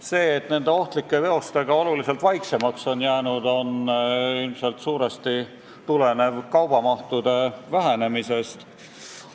See, et nende ohtlike veostega on oluliselt vaiksemaks jäänud, tuleneb suuresti ilmselt kaubamahtude vähenemisest.